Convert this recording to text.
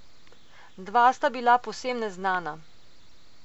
Dva sta bila povsem neznana.